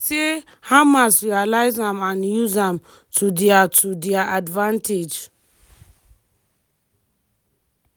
but he say “hamas realise am and use am” to dia to dia advantage.